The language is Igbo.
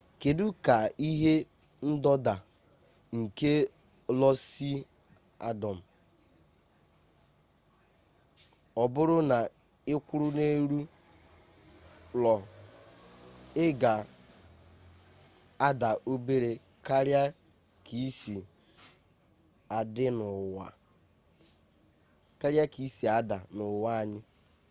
kedụ ka ike ndọda nke lo si adọm ọbụrụ na ịkwụrụ n'elu lo ị ga-ada obere karịa ka ị si ada n'ụwa anyị